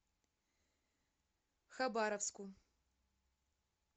хабаровску